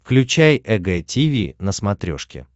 включай эг тиви на смотрешке